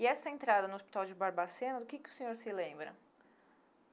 E essa entrada no Hospital de Barbacena, do que que o senhor se lembra?